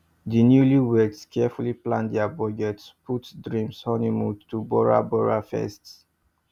di newlyweds carefully plan dia budget put dream honeymoon to bora bora first